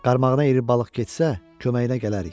Qarmağına iri balıq getsə, köməyinə gələrik.